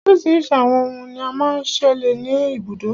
Oríṣiríṣi àwọn òhún ní o má ń ṣẹlẹ̀ ní ibùdó.